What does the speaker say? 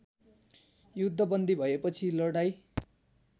युद्धबन्दी भएपछि लडाईँँ